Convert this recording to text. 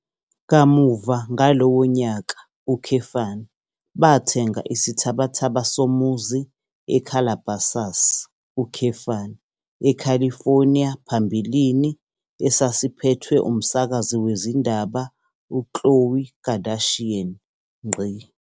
Kamuva ngalowo nyaka, bathenga isithabathaba somuzi eCalabasas, eCalifornia phambilini esasiphethwe umsakazi wezindaba uKhloé Kardashian.